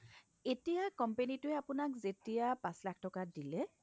এতিয়া company টোয়ে আপোনাক যেতিয়া পাচ লাখ টকা দিলে